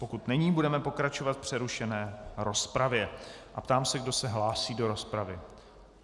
Pokud není, budeme pokračovat v přerušené rozpravě a ptám se, kdo se hlásí do rozpravy.